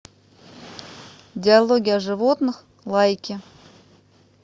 диалоги о животных лайки